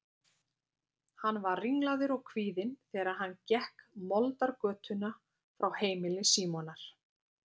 Hann var ringlaður og kvíðinn þegar hann gekk moldargötuna frá heimili Símonar.